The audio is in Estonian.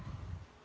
Auväärt minister!